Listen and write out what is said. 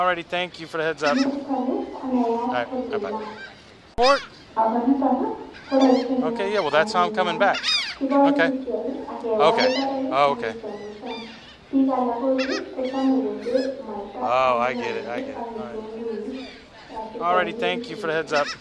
Inoniton ii konayat ko ndumaa, akoniton ii koroisi neaa amenywan, kiboluu kityok akewai barak akichemushan, biik alak oot kochome konde mwaitaa ak nyanyiik ak kitung'uik asikwonyinyekitun mising.